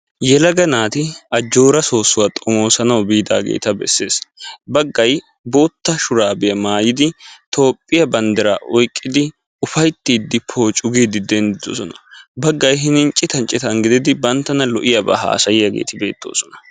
Yelaga naati ajjoora soosuwa xoomosanaw biidageeta bessees. Baggay boota shuraabiyaa maayidi Itoophiyaa banddira oyqqidi ufayttiidi poocu giidi denddidoosona, baggay hinin citan citan banttana lo"iyaaba haassayiyaageeti bettoosona.